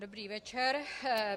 Dobrý večer.